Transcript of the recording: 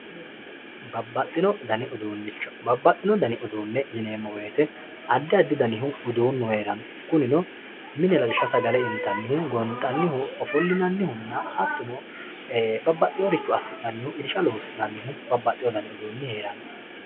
Babaxino dani uduunicho, babaxino dani uduune yinne woyite adi adi danihu uduu'nu heeranno kunino mine lawisha sagale intanihu gonxanihu ofolinanihunna hatonno babaxiworicho asinanihu irisha loosinanihu babaxiwo dani uduunni heeranno